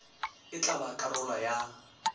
e tla ba karolo ya